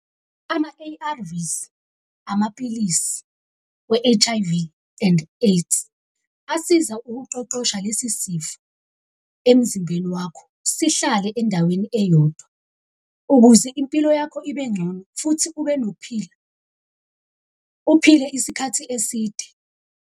Ama-A_R_Vs, amapilisi we-H_I_V and AIDS asiza ukuqeqesha lesi sifo emzimbeni wakho, sihlale endaweni eyodwa, ukuze impilo yakho ibe ngcono, futhi ube nokuphila, uphile isikhathi eside.